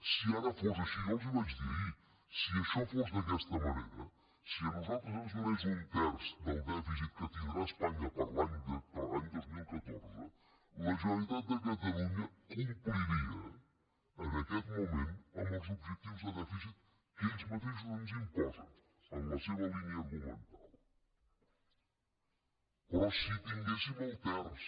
si ara fos així jo els ho vaig dir ahir si això fos d’aquesta manera si a nosaltres ens donés un terç del dèficit que tindrà espanya per a l’any dos mil catorze la generalitat de catalunya compliria en aquest moment amb els objectius de dèficit que ells mateixos ens imposen en la seva línia argumental però si tinguéssim el terç